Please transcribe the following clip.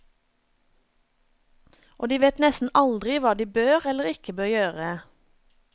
Og de vet nesten aldri hva de bør eller ikke bør gjøre.